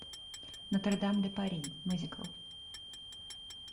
нотр дам де пари мюзикл